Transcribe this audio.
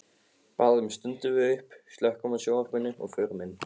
Bráðum stöndum við upp, slökkvum á sjónvarpinu og förum inn.